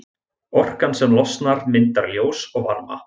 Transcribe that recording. Orkan sem losnar myndar ljós og varma.